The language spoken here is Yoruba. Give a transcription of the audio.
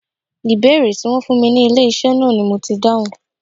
Ìbéèrè Tí wón fún mi ní ilé iṣẹ́ náà ni mo ti dáhùn.